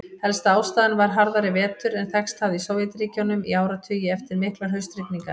Helsta ástæðan var harðari vetur en þekkst hafði í Sovétríkjunum í áratugi, eftir miklar haustrigningar.